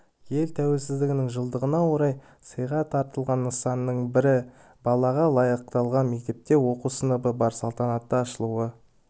ел тәуелсіздігінің жылдығына орай сыйға тартылған нысанның бірі балаға лайықталған мектепте оқу сыныбы бар салтанатты ашылу